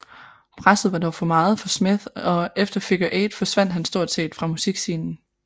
Presset var dog for meget for Smith og efter Figure 8 forsvandt han stort set fra musikscenen